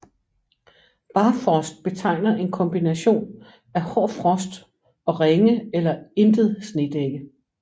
Barfrost betegner en kombination af hård frost og ringe eller intet snedække